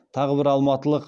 тағы бір алматылық